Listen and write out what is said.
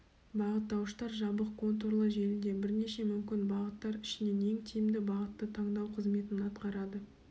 бағыттауыштар жабық контурлы желіде бірнеше мүмкін бағыттар ішінен ең тиімді бағытты таңдау қызметін атқарады